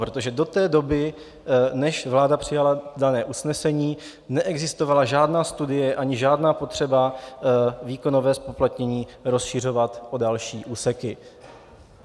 Protože do té doby, než vláda přijala dané usnesení, neexistovala žádná studie ani žádná potřeba výkonové zpoplatnění rozšiřovat o další úseky.